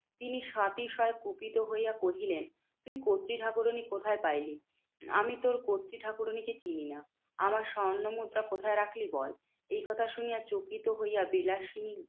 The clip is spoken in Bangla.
তিনি সাতিশয় ক্রোধিত হইয়া কহিলেন, তুই কর্ত্রী ঠাকুরানী কোথায় পাইলি? আমি তোর কর্ত্রী ঠাকুরনীকে চিনিনা। আমার স্বর্ণমুদ্রা কোথায় রাখলি বল? এই কথা শুনিয়া চকিত হইয়া বিলাসিনী